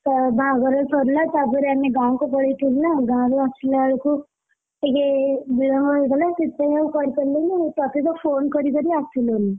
ତ ବାହାଘର ସରିଲା ତା ପରେ ଆମେ ଗାଁକୁ ପଳେଇଥିଲୁ ନା ଗାଁରୁ ଆସିଲା ବେଳକୁ, ଇଏ ବିଳମ୍ବ ହେଇଗଲା ସେଇଥିପାଇଁ ଆଉ କରି ପାରିଲିନି ଆଉ ତତେ ତ phone କରି କରି ଆସିଲୁନି!